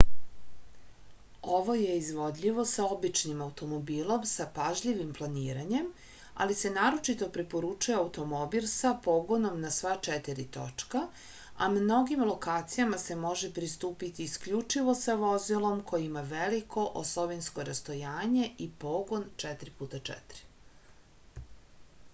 ово је изводљиво са обичним аутомобилом са пажљивим планирањем али се нарочито препоручује аутомобил са погоном на сва 4 точка а многим локацијама се може приступити искључиво са возилом које има велико осовинско растојање и погон 4x4